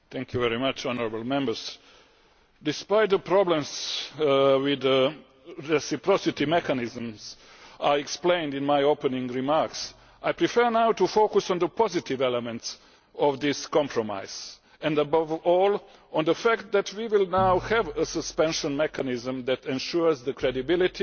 Madam President, honourable Members, despite the problems with the reciprocity mechanisms which I explained in my opening remarks, I prefer now to focus on the positive elements of this compromise and, above all, on the fact that we will now have a suspension mechanism which ensures the credibility